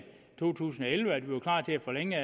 to tusind og elleve sagde at vi var klar til at forlænge